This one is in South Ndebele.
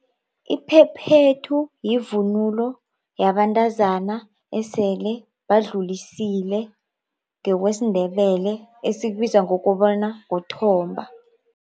Iphephethu yivunulo yabantazana esele badlulisile ngekwesiNdebele esikubiza ngokobana kuthomba.